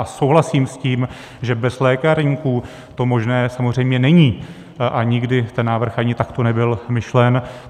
A souhlasím s tím, že bez lékárníků to možné samozřejmě není a nikdy ten návrh ani takto nebyl myšlen.